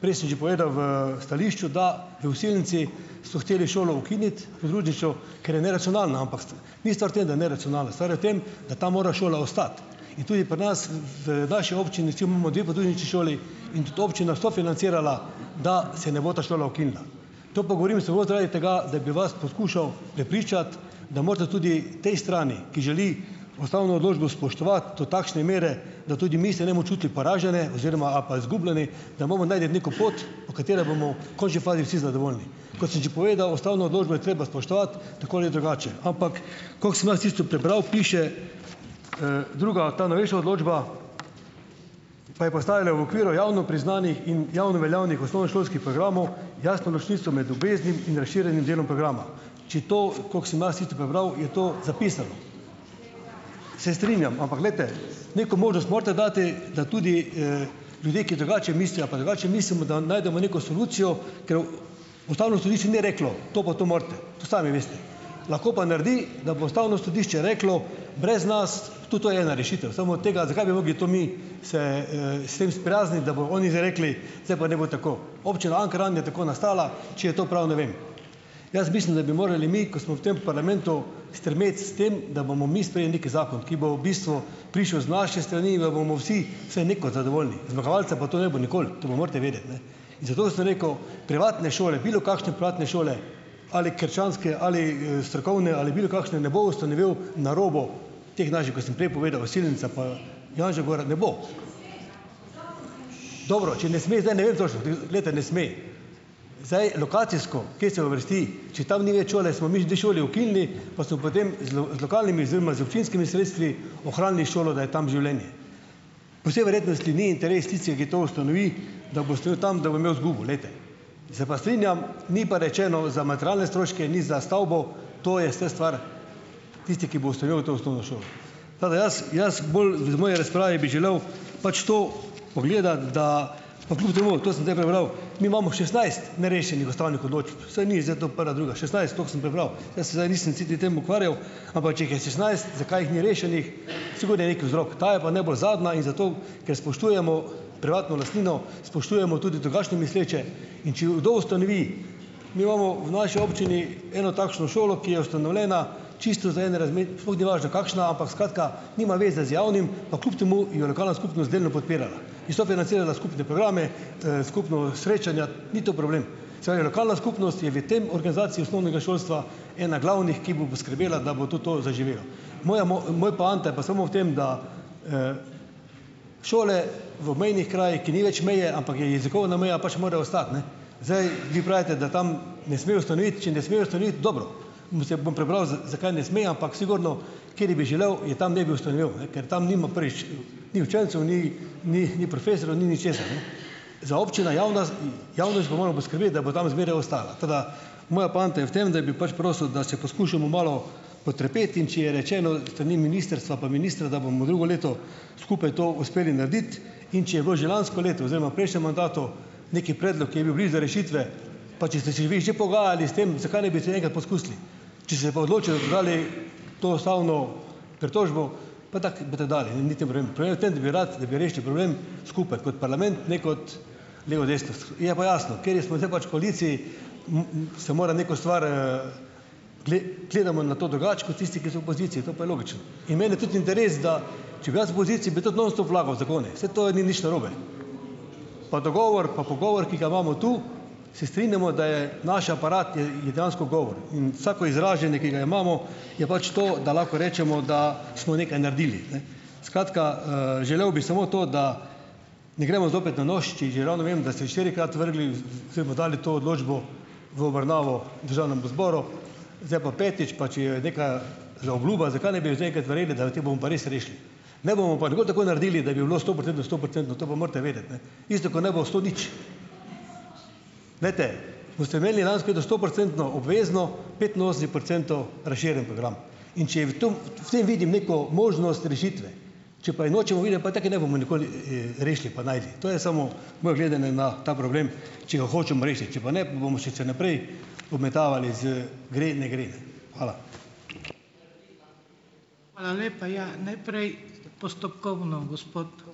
Prej sem že povedal v stališču, da v Osilnici so hoteli šolo ukiniti, podružnično, ker je neracionalna, ampak ni stvar v tem, da je neracionalna, stvar je v tem, da tam mora šola ostati, in tudi pri nas v vaši občini, kjer imamo dve podružnični šoli, in tudi občina sofinancirala, da se ne bo ta šola ukinila. To pa govorim samo zaradi tega, da bi vas poskušal prepričati, da morate tudi tej strani, ki želi ustavno odločbo spoštovati do takšne mere, da tudi mi se ne bomo čutili poražene oziroma ali pa izgubljeni, da imamo najti neko pot, po kateri bomo v končni fazi vsi zadovoljni. Kot sem že povedal, ustavno odločbo je treba spoštovati tako ali drugače, ampak koliko sem jaz tisto prebral, piše, druga, ta novejša odločba: "Pa je postavljena v okviru javno priznanih in javno veljavnih osnovnošolskih programov, jasno ločnico med obveznim in razširjenim delom programa." Če to, koliko sem jaz tisto prebral, je to zapisano. Se strinjam, ampak glejte, neko možnost morate dati, da tudi, ljudje, ki drugače mislijo ali pa drugače mislimo, da najdemo neko solucijo, ker, ustavno sodišče ni reklo: "To pa to morate," to sami veste. Lahko pa naredi, da bo ustavno sodišče reklo: "Brez nas." Tudi to je ena rešitev, samo od tega ... Zakaj bi mogli to mi se, s tem sprijazniti, da bojo oni zdaj rekli: "Zdaj pa naj bo tako." Občina Ankaran je tako nastala, če je to prav, ne vem. Jaz mislim, da bi morali mi, ko smo v tem parlamentu, stremeti s tem, da bomo mi sprejeli neki zakon, ki bo v bistvu prišel z naše strani, da bomo vsi vsaj nekaj zadovoljni. Zmagovalca pa tu ne bo nikoli, to pa morate vedeti, ne. In zato sem rekel, privatne šole, bilokakšne privatne šole ali krščanske ali, strokovne ali bilokakšne, ne bo ustanovil na robu teh naših, ko sem prej povedal, Osilnica pa Janževa gora, ne bo. Dobro, če ne sme, zdaj ne vem točno, Glejte, ne sme, zdaj lokacijsko, kje se uvrsti. Če tam ni več šole, smo mi dve šoli ukinili, pa so potem z z lokalnimi oziroma z občinskimi sredstvi ohranili šolo, da je tam življenje. Po vsej verjetnosti ni interes tistih, ki to ustanovi, da bo ustanovil tam, da bo imel izgubo, glejte. Se pa strinjam, ni pa rečeno za materialne stroške, ni za stavbo - to je vse stvar, tisti, ki bo ustanovil to osnovno šolo. Tako da jaz, jaz bolj iz moje razprave bi želel pač to pogledati, da ... pa kljub temu, to sem zdaj prebral - mi imamo šestnajst nerešenih ustavnih odločb. Saj ni zdaj to prva, druga - šestnajst, tako sem prebral. Jaz se zdaj nisem sicer s tem ukvarjal, ampak če jih je šestnajst, zakaj jih ni rešenih - sigurno je neki vzrok. Ta je pa najbolj zadnja in zato, ker spoštujemo privatno lastnino, spoštujemo tudi drugačno misleče, in če jo kdo ustanovi ... Mi imamo v naši občini eno takšno šolo, ki je ustanovljena čisto za en razlik, sploh ni važno kakšna, ampak skratka nima veze z javnim, pa kljub temu jo lokalna skupnost delno podpirala in sofinancirala skupne programe, skupna srečanja, ni to problem. Se pravi, lokalna skupnost je v tem organizaciji osnovnega šolstva ena glavnih, ki bo poskrbela, da bo tudi to zaživelo. Moja moja poanta je pa samo v tem, da, šole v obmejnih krajih, ki ni več meje, ampak je jezikovna meja, pač more ostati, ne. Zdaj, vi pravite, da tam ne sme ustanoviti, če ne sme ustanoviti, dobro, se bom prebral z, zakaj ne sme, ampak sigurno, kateri bi želel, je tam ne bi ustanovil, ne. Ker tam nima, prvič, ni učencev, ni, ni profesorju, ni ničesar, ne. Za občino javna javnost, ga moramo poskrbeti, da bo tam zmeraj ostala, tako da moja poanta je v tem, da bi pač prosil, da se poskušamo malo potrpeti, in če je rečeno s strani ministrstva pa ministra, da bomo drugo leto skupaj to uspeli narediti, in če je bil že lansko leto oziroma v prejšnjem mandatu neki predlog, ki je bil blizu rešitve, pa če ste se vi že pogajali s tem, zakaj ne bi še enkrat poskusili. Če ste pa odločili, da izbrali to ustavno pritožbo, pa tako boste dali in niti problem. Problem je v tem, da bi ratalo, da bi rešili problem skupaj kot parlament, ne kot levo, desno, Je pa jasno, kateri smo zdaj pač v koaliciji, se mora neko stvar, gledamo na to drugače kot tisti, ki so v poziciji, to pa je logično. In meni je tudi interes, da če bi jaz v poziciji, bi tudi non stop vlagal zakone. Saj to ni nič narobe. Pa dogovor, pa pogovor, ki ga imamo tu - se strinjamo, da je naš aparat je, je, je dejansko govor in vsako izražanje, ki ga imamo, je pač to, da lahko rečemo, da smo nekaj naredili, ne. Skratka, želel bi samo to, da ne gremo zopet na nož, če že ravno vem, da ste štirikrat vrgli v, v, oziroma dali to odločbo v obravnavo državnemu zboru, zdaj pa petič, pa če je neka zaobljuba, zakaj ne bi zdaj enkrat naredili, da te bomo pa res rešili. Ne bomo pa nikoli tako naredili, da bi bilo stoprocentno, stoprocentno, to pa morate vedeti, ne. Isto, ko ne bo sto nič. Glejte, ko ste imeli lansko leto stoprocentno obvezno, petinosemdeset procentov razširjeni program, in če je v tem v tem vidim neko možnost rešitve, če pa je nočemo videti, pa tako je ne bomo nikoli, rešili pa našli. To je samo moje gledanje na ta problem, če ga hočemo rešiti, če pa ne, pa bomo še se naprej obmetavali z gre in ne gre, ne. Hvala.